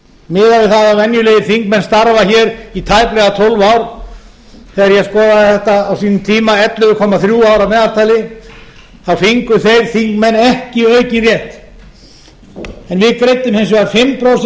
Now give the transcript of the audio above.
miðað við að venjulegir þingmenn starfa hér í tæplega tólf ár þegar ég skoðaði þetta á sínum tíma ellefu komma þrjú ár að meðaltali fengu þeir þingmenn ekki aukinn rétt við greiddum hins vegar fimm prósent inn í lífeyrissjóðinn